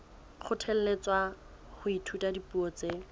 kgothalletswa ho ithuta dipuo tse